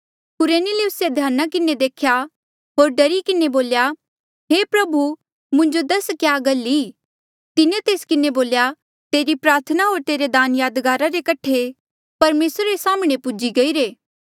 कुरनेलियुसे से ध्याना किन्हें देख्या होर डरी किन्हें बोल्या हे प्रभु मुंजो दसा क्या गल ई तिन्हें तेस किन्हें बोल्या तेरी प्रार्थना होर तेरे दान यादगारा रे कठे परमेसरा रे साम्हणें पूजी गईरे